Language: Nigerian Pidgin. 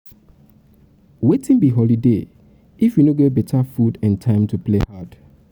wetin um be holiday if um we no get we no get beta food and time to play hard